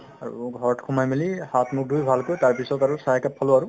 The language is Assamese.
আৰু ঘৰত সোমাই মেলি হাত-মুখ ধুই ভালকৈ তাৰপিছত আৰু চাহ একাপ খালো আৰু